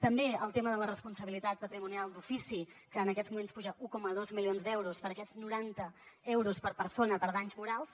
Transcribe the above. també el tema de la responsabilitat patrimonial d’ofici que en aquests moments puja un coma dos milions d’euros per aquests noranta euros per persona per danys morals